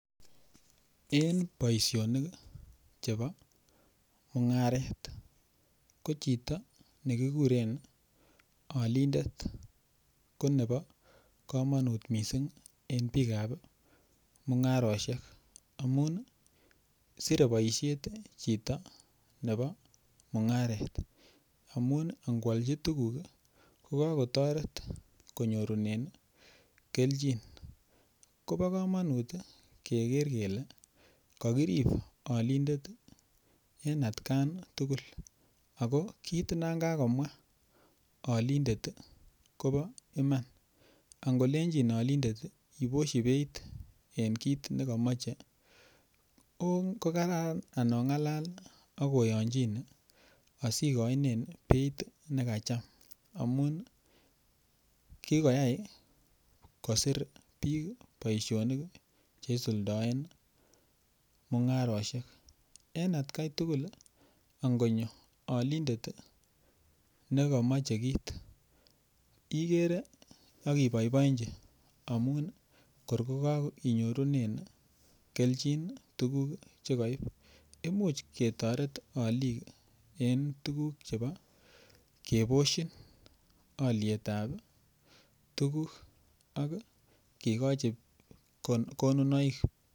en boishonik iih chebo mungareet, ko chito negigureen olindet konebo komonuut mising en biik ab mungaroshek amun sire boishet chito nebo mungareet amuun nwolchi tuguuk iih kogagotoret konyorunen kelchi, kobo komonuut iih keger kele kogiriib olindeet en atkaan tugul ago kiit nan kagomwaa olindet kobo imaan, atkolenchin olindeet iih ibosyi beeit en kiit negomoche, kogaraan anongalal ak oyonchine asigoinen bei negacham amuun kigoyaai kosiir biik boishonik chisuldoen mungaroshek, en atkai tugul iih angonyo olindeet negomoche kiit igere ak iboiboenchi amuun kor kogainyorunen kelchin iih tuguuk chegoib, imuuch ketoreet oliik en tuguk chebo keboshin olyeet ab tuguk ak igochi konunoik.